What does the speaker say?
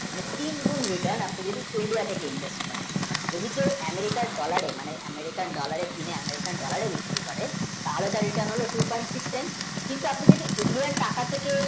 তীন গুণ return আপনি যদি favour এ invest করেন যদি কেউ American, dollar মানে American, dollar এ কেনে American, dollar এ বিক্রি করে তাহলে তার return হবে two, point, six, eight কিন্তু যদি আপনি Indian টাকা থেকে